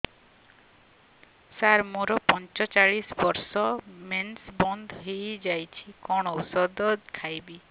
ସାର ମୋର ପଞ୍ଚଚାଳିଶି ବର୍ଷ ମେନ୍ସେସ ବନ୍ଦ ହେଇଯାଇଛି କଣ ଓଷଦ ଖାଇବି